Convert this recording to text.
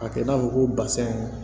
A kɛ i n'a fɔ ko basɛn